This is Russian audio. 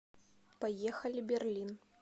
поехали берлин